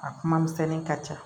A kuma misɛnni ka ca